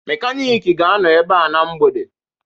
Mekaniki ga-anọ ebe a na mgbede